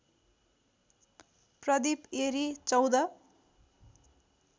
Pradip Airi १४